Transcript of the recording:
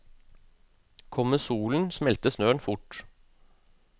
Kommer solen, smelter snøen fort.